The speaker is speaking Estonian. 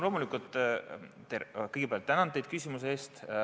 Kõigepealt tänan teid küsimuse eest.